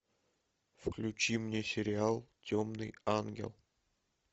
включи мне сериал темный ангел